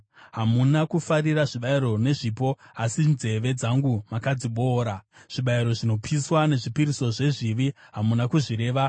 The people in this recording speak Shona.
Hamuna kufarira zvibayiro nezvipo, asi nzeve dzangu makadziboora; zvibayiro zvinopiswa nezvipiriso zvezvivi hamuna kuzvireva.